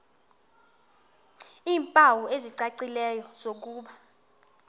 iimpawu ezicacileyo zokuba